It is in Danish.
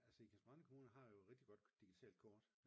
Altså Ikast-Brande kommune har jo et rigtig godt digitalt kort